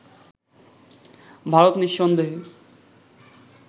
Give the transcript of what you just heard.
ভারত নিঃসন্দেহে